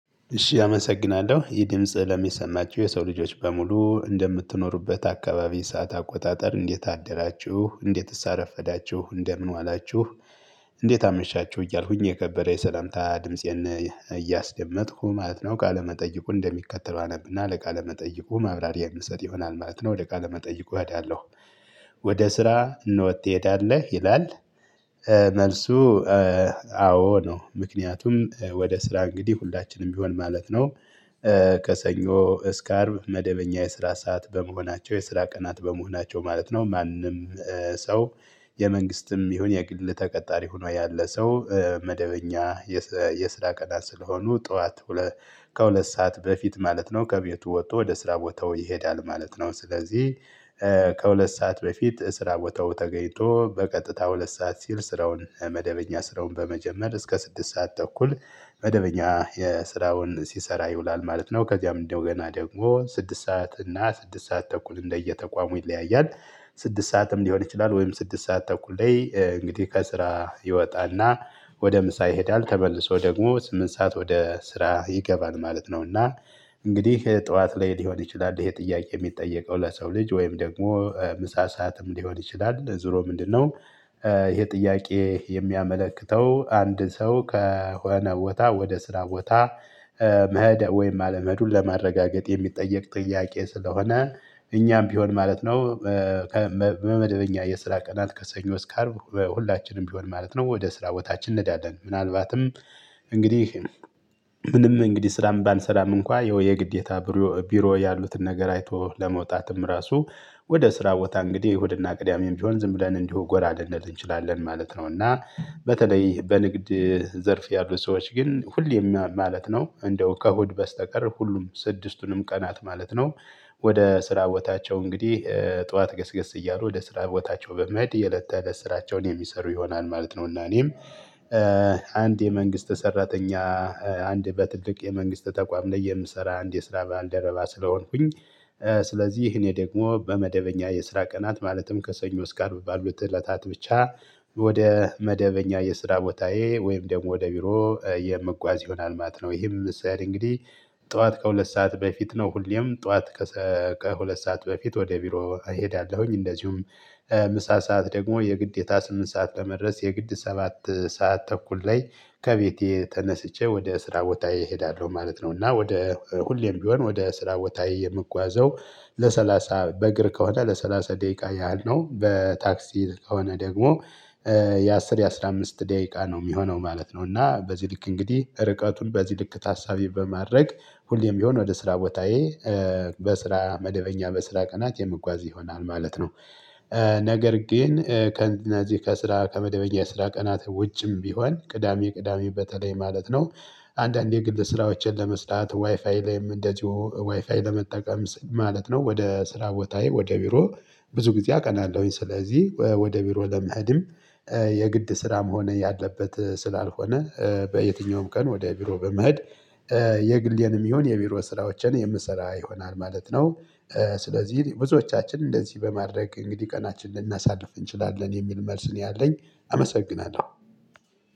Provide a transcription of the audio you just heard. እሺ አመሰግናለሁ ይህ ድምጽ ለሚሰማችሁ የሰው ልጆች በሙሉ እንደምትኖሩበት አካባቢ ሰዓት አቆጣጠር እንዴት አደራችሁ እንዴትስ አረፈዳችሁ እንደምን ዋላችሁ። እንዴት አመሻችሁ እያልኩኝ የከበረ የሰላምታ ድምፄን እያስደመጥኩ ማለት ነው። ቃለመጠየቁ እንደሚከተለው አነብ እና ለቃለ ለመጠይቁ ማብራሪያ የምሰጥ ይሆናል ማለት ነው። ወደ ቃለ መጠይቁ እሄዳለሁ። ወደ ስራ ትሄዳለህ ይላል? መልሱ አዎ ነው ምክንያቱም ወደ ስራ እንግዲህ ሁላችንም ቢሆን ማለት ነው። ከሰኞ እስከ አርብ መደበኛ የስራ ሰዓት በመሆናቸው የስራ ቀናት በመሆናቸው ማለት ነው። ማንም ሰው የመንግስትም ይሁን የግል ተቀጣሪ ሆኖ ያለ ሰው መደበኛ የስራ ቀናት ስለሆኑ ጠዋት ከሁለት ሰዓት በፊት ማለት ነው ከቤቱ ወጥቶ ወደ ስራ ቦታው ይሄዳል ማለት ነው። ስለዚህ ከሁለት ሰዓት በፊት ስራ ቦታው ተገኝቶ በቀጥታ ሁለት ሰዓት ሲል ስራውን መደበኛ ስራውን በመጀመር እስከ ስድስት ሰዓት ተኩል መደበኛ የስራውን ሲሰራ ይውላል ማለት ነው። ከዚያም እንደገና ደግሞ ስድስት ሰዓት እና ስድስት ሰዓት ተኩል እንደየ ተቋሙ ይለያያል። ስድስት ሰዓትም ሊሆን ይችላል ወይም ስድስት ሰዓት ተኩል ላይ እንግዲህ ከስራ ይወጣ እና ወደ ምሳ ይሄዳል ተመልሶ ደግሞ ስምንት ሰዓት ወደ ስራ ይገባል ማለት ነው። እና እንግዲህ ጠዋት ላይ ሊሆን ይችላል ይሄ ጥያቄ የሚጠየቀው ለሰው ልጅ ወይም ደግሞ ምሳ ሰዓትም ሊሆን ይችላል ዙሮ ምንድነው? ይሄ ጥያቄ የሚያመለክተው አንድ ሰው ከሆነ ቦታ ወደ ስራ ቦታ መህደ ወይም አለመሄዱን ለማረጋገጥ የሚጠየቅ ጥያቄ ስለሆነ እኛም ቢሆን ማለት ነው። በመደብኛ የስራ ቀናት ከሰኞ እስከ አርብ በሁላችንም ቢሆን ማለት ነው ወደ ስራ ቦታችን ነንሄዳለን። ምናልባትም እንግዲህ ምንም እንግዲህ ስራም ባልሰራም እንኳን ያው የግዴታ ቢሮ ያሉትን ነገር አይቶ ለመውጣትም ራሱ ወደ ስራ ቦታ እንግዲህ እሁድ እና ቅዳሜም ቢሆን ዝም ብለን እንዲሁ ጎራ ልንል እንችላለን ማለት ነው። እና በተለይ በንግድ ዘርፍ ያሉ ሰዎች ግን ሁሌም ማለት ነው እንደው ከእሁድ በስተቀር ሁሉም ስድስቱንም ቀናት ማለት ነው። ወደ ስራ ቦታቸው እንግዲህ ጠዋት ገስገስ እያሉ ወደ ስራ ቦታቸው በመሄድ የለት ተእለት ስራቸውን የሚሰሩ ይሆናል ማለት ነው። እና እኔም አንድ የመንግስት ሰራተኛ አንድ በትልቅ የመንግስት ተቋም ላይ የምሰራ አንድ የስራ ባልደረባ ስለሆንኩኝ። ስለዚህ እኔ ደግሞ በመደበኛ የስራ ቀናት ማለትም ከሰኞ እስከ አርብ ባሉት እለታት ብቻ ወደ መደበኛ የስራ ቦታዬ ወይም ደግሞ ወደ ቢሮ የመጓዝ ይሆናል ማት ነው። ይህም ስራዬ እንግዲህ ጠዋት ከሁለት ሰዓት በፊት ነው ሁሌም ጠዋት ከሁለት ሰዓት በፊት ወደ ቢሮ እሄዳለሁኝ። እንደዚሁም ምሳ ሰዓት ደግሞ የግዴታ ስምንት ሰዓት ለመድረስ የግድ ሰባት ሰዓት ተኩል ላይ ከቤቴ ተነስቼ ወደ ስራ ቦታዬ እሄዳለሁ ማለት ነው። እና ወደ ሁሌም ቢሆን ወደ ስራ ቦታዬ የምጓዘው ለሰላሳ በእግር ከሆነ ለሰላሳ ደቂቃ ያህል ነው በታክሲ ከሆነ ደግሞ የአስር የአስራ አምስት ደቂቃ ነው የሚሆነው ማለት ነው። እና በዚህ ልክ እንግዲህ ርቀቱን በዚህ ልክ ታሳቢ በማድረግ ሁሌም ቢሆን ወደ ስራ ቦታዬ በስራ መደበኛ በስራ ቀናት የምጓዝ ይሆናል ማለት ነው። ነገር ግን ከእነዚህ ከስራ ከመደበኛ ስራ ቀናት ውጭም ቢሆን ቅዳሜ ቅዳሜ በተለይ ማለት ነው። አንዳንዴ የግል ስራዎችን ለመስራት ዋይፋይ ላይም እንደዚሁ ዋይፋይ ለመጠቀም ማለት ነው። ወደ ስራ ቦታዬ ወደ ቢሮ ብዙ ጊዜ አቀናለሁኝ ስለዚህ ወደ ቢሮ ለመሄድም የግድ ስራ መሆን ያለበት ስላልሆነ በየትኛውም ቀን ወደ ቢሮ በመሄድ የግሌንም ይሁን የቢሮ ስራዎችን የምሰራ ይሆናል ማለት ነው። ስለዚህ ብዙዎቻችን እንደዚህ በማድረግ እንግዲህ ቀናችንን ልናሳድፍ እንችላለን የሚል መልስ ነው ያለኝ። አመሰግናለሁ።